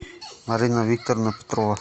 марина викторовна петрова